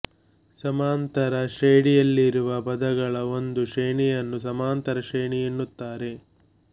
ಸಮಾಂತರ ಶ್ರೇಢಿಯಲ್ಲಿರುವ ಪದಗಳ ಒಂದು ಶ್ರೇಣಿಯನ್ನು ಸಮಾಂತರ ಶ್ರೇಣಿ ಎನ್ನುತ್ತಾರೆ